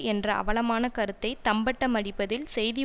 என்ற அவலமான கருத்தை தம்பட்டம் அடிப்பதில் செய்தி